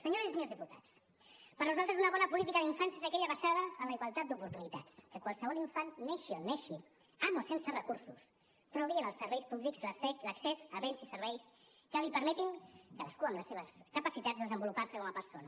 senyores i senyors diputats per a nosaltres una bona política d’infància és aquella basada en la igualtat d’oportunitats que qualsevol infant neixi on neixi amb recursos o sense trobi en els serveis públics l’accés a béns i serveis que li permetin cadascú amb les seves capacitats desenvolupar se com a persona